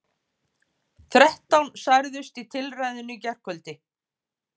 Þrettán særðust í tilræðinu í gærkvöldi